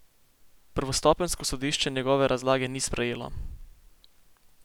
Prvostopenjsko sodišče njegove razlage ni sprejelo.